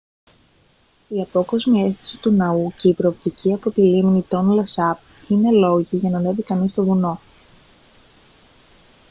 η απόκοσμη αίσθηση του ναού και η προοπτική από την λίμνη τόνλε σαπ είναι λόγοι για να ανεβεί κανείς στο βουνό